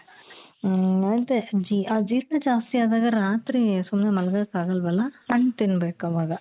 ಹ್ಮ್ ಅದೇ ಅಜೀರ್ಣ ಜಾಸ್ತಿ ಆದಾಗ ರಾತ್ರಿ ಸುಮ್ನೆ ಮಲ್ಗೋಕಾಗಲ್ವಲ್ಲ ಹಣ್ಣು ತಿನ್ಬೇಕವಾಗ .